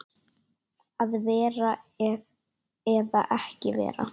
Að vera eða ekki vera?